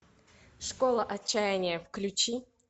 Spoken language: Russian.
школа отчаяния включи